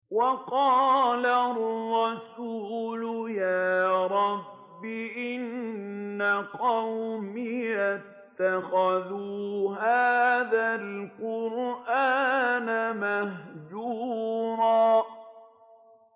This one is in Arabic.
وَقَالَ الرَّسُولُ يَا رَبِّ إِنَّ قَوْمِي اتَّخَذُوا هَٰذَا الْقُرْآنَ مَهْجُورًا